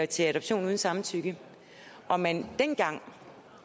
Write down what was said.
til adoption uden samtykke og man dengang